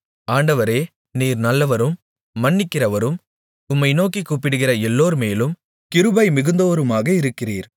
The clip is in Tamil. ஆண்டவரே நீர் நல்லவரும் மன்னிக்கிறவரும் உம்மை நோக்கிக் கூப்பிடுகிற எல்லோர்மேலும் கிருபை மிகுந்தவருமாக இருக்கிறீர்